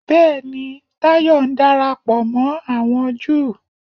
Bẹ́ẹ̀ni, Táyọ̀ ń darapọ̀ mọ́ àwọn Júù